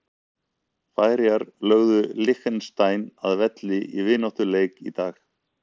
Færeyjar lögðu Liechtenstein að velli í vináttulandsleik í dag.